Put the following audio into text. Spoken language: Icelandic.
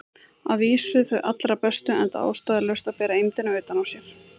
Að vísu þau allra bestu, enda ástæðulaust að bera eymdina utan á sér.